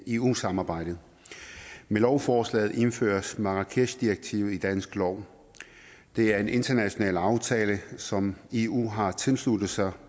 eu samarbejdet med lovforslaget indføres marrakeshdirektivet i dansk lov det er en international aftale som eu har tilsluttet sig